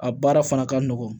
A baara fana ka nɔgɔn